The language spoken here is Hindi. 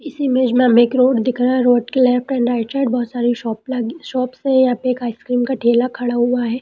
इस इमेज में हमें एक रोड दिख रहा है road left and right side बहुत सारी शॉप लगी शॉप्स हैं यहाँ पे आइस क्रीम का ठेला खड़ा हुआ है।